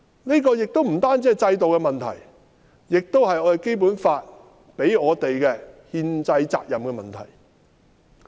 這不單是制度的問題，亦關乎《基本法》給予我們的憲制責任的問題。